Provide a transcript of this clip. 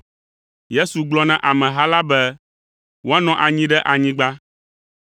Yesu gblɔ na ameha la be woanɔ anyi ɖe anyigba.